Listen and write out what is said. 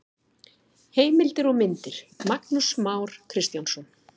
Heimildir og myndir: Magnús Már Kristjánsson.